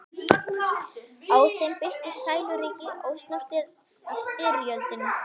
Á þeim birtist sæluríki, ósnortið af styrjöldinni.